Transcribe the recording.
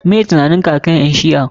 Meh tunaninka akan ƴan shi'a?